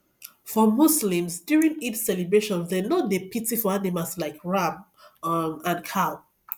for muslims during eid celebrations dem no pity for animals like ram um and cow